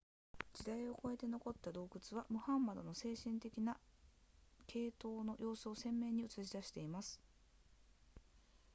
時代を超えて残った洞窟はムハンマドの精神的な傾倒の様子を鮮明に映し出しています